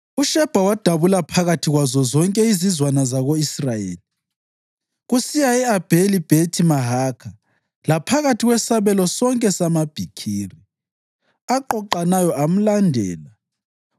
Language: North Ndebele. UShebha wadabula phakathi kwazo zonke izizwana zako-Israyeli kusiya e-Abheli-Bhethi-Mahakha laphakathi kwesabelo sonke samaBikiri, aqoqanayo amlandela.